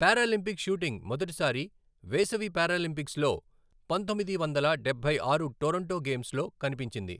Paralympic shooting మొదటిసారి వేసవి పారాలింపిక్స్లో, పంతొమ్మిది వందల డబ్బై ఆరు టోరంటో గేమ్స్లో కనిపించింది.